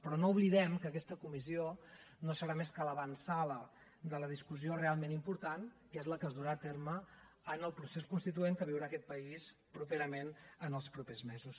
però no oblidem que aquesta comissió no serà més que l’avantsala de la discussió realment important que és la que es durà a terme en el procés constituent que viurà aquest país properament en els propers mesos